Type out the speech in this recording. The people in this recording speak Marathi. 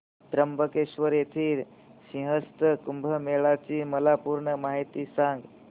त्र्यंबकेश्वर येथील सिंहस्थ कुंभमेळा ची मला पूर्ण माहिती सांग